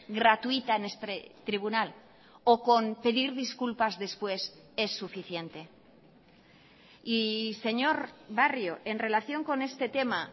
gratuita en este tribunal o con pedir disculpas después es suficiente y señor barrio en relación con este tema